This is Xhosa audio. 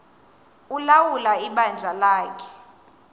ulawula ibandla lakhe